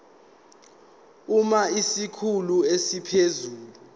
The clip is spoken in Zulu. uma isikhulu esiphezulu